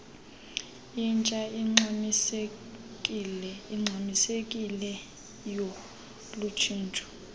intsha ingxamisekileyo lutshintsho